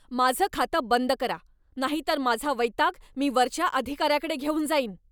माझं खातं बंद करा, नाहीतर माझा वैताग मी वरच्या अधिकाऱ्याकडे घेऊन जाईन.